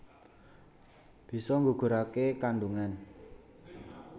Bisa nggugurké kandungan